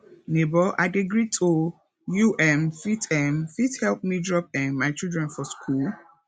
nebor i dey greet o you um fit um fit help me drop um my children for skool